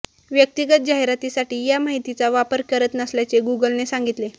व्यक्तिगत जाहीरातीसाठी या माहितीचा वापर करत नसल्याचे गूगलने सांगितले